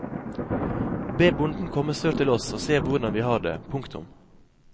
Be bonden komme sør til oss og se hvordan vi har det. punktum